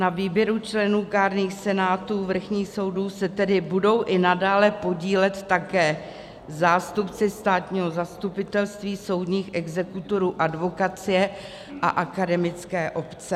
Na výběru členů kárných senátů vrchních soudů se tedy budou i nadále podílet také zástupci státního zastupitelství, soudních exekutorů, advokacie a akademické obce.